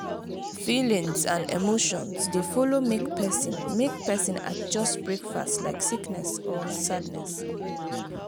feelings and emotions dey follow make pesin make pesin adjust breakfast like sickness or sadness.